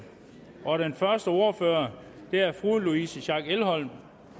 og den første ordfører er fru louise schack elholm